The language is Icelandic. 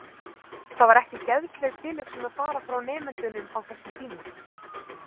Það var ekki geðsleg tilhugsun að fara frá nemendunum á þessum tíma.